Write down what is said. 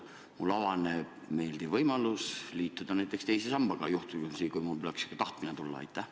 Kas mulle avaneb meeldiv võimalus liituda teise sambaga, kui mul peaks selline tahtmine tulema?